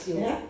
Ja